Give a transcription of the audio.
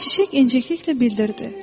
Çiçək incəliklə bildirdi: